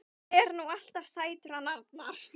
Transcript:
Hann er nú alltaf sætur hann Arnar.